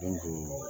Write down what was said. Den jɔ